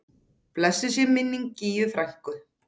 Blessuð sé minning Gígju frænku.